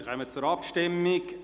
Wir kommen zur Abstimmung.